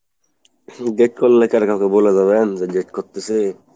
date করলে কারো কাছে বলে যাবেন যে date করতেছি!